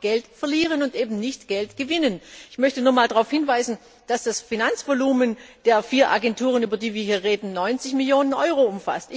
Geld verlieren und nicht Geld gewinnen. Ich möchte nochmals darauf hinweisen, dass das Finanzvolumen der vier Agenturen, über die wir hier reden, 90 Millionen Euro umfasst.